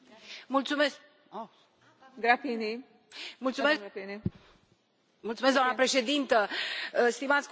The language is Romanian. Doamnă președintă, stimați colegi, în primul rând vreau să o felicit pe raportoare și pe toți colegii care susțin această inițiativă.